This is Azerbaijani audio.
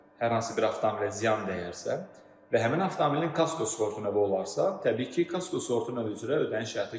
Hər hansı bir avtomobilə ziyan dəyərsə və həmin avtomobilin kasko sığortasına olararsa, təbii ki, kasko sığortası üzrə ödəniş həyata keçirilir.